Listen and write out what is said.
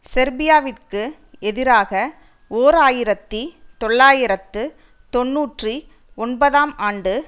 செர்பியாவிற்கு எதிராக ஓர் ஆயிரத்தி தொள்ளாயிரத்து தொன்னூற்றி ஒன்பதாம் ஆண்டு